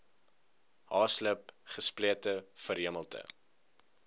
haaslip gesplete verhemelte